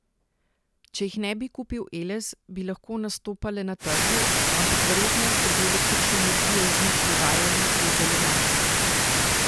Če jih ne bi kupil Eles, bi lahko nastopale na trgu, ampak verjetnost, da bi električno energijo iz njih prodajali, je zelo majhna.